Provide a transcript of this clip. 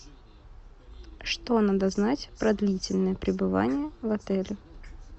что надо знать про длительное пребывание в отеле